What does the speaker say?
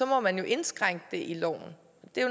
må man indskrænke det i loven